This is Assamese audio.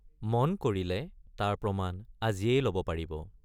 মন কৰিলে তাৰ প্ৰমাণ আজিয়েই লব পাৰিব।